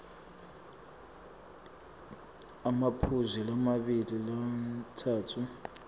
emaphuzu lamabili lamatsatfu